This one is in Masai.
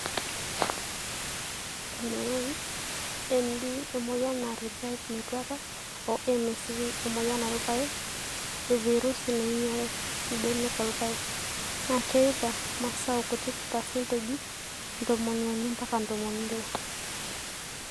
MLND(emoyian naar ilpaek metuata)oo MSV (emoyian olpaek e virusi nainyal mbenek oolpaek)naa keitaa masao kutik paasenteji ntomoni uni mpaka ntomoni ile